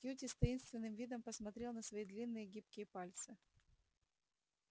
кьюти с таинственным видом посмотрел на свои длинные гибкие пальцы